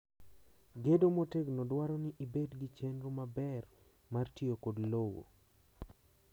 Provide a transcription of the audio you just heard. Gedo motegno dwaro ni ibed gi chenro maber mar tiyo kod lowo.